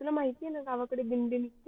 तुला माहीत आहे ना गावाकडे दिंडी निघते